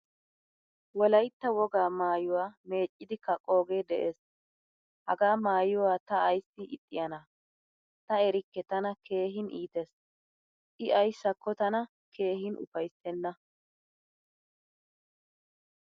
Wolaytta wogaa maayuwaa meeccidi kaqqoge de'ees. Hagaa maayuwaala ta ayssi ixxiyana? Ta erikke tana keehin iittees. I ayssako tana keehin ufayssena.